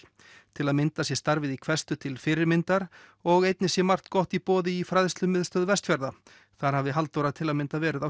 til að mynda sé starfið í til fyrirmyndar og einnig sé margt gott í boði í Fræðslumiðstöð Vestfjarða þar hafi Halldóra til að mynda verið á